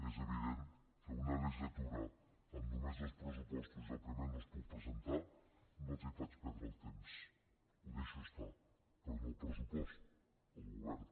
és evident que una legislatura amb només dos pressupostos i els primers no els puc presentar no els faig perdre el temps ho deixo estar però no el pressupost el govern